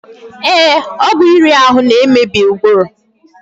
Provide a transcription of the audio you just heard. Ee, ọgwụ iri ahụ na-emebi ụbụrụ.